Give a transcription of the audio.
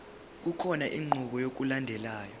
kukhona inqubo yokulandelayo